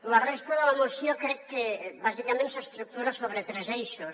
la resta de la moció crec que bàsicament s’estructura sobre tres eixos